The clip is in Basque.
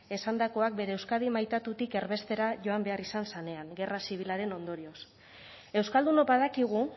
esandakoak bere euskadi maitatutik erbestera joan behar izan zanean gerra zibilaren ondorioz euskaldunok badakigu